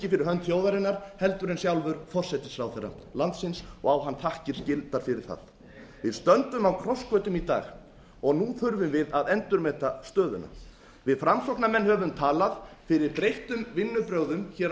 fyrir hönd þjóðarinnar heldur en sjálfur forsætisráðherra landsins á hann þakkir skyldar fyrir það við stöndum á krossgötum í dag nú þurfum við að endurmeta stöðuna við framsóknarmenn höfum talað fyrir breyttum vinnubrögðum hér á